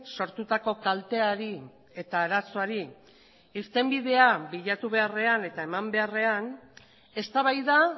sortutako kalteari eta arazoari irtenbidea bilatu beharrean eta eman beharrean eztabaida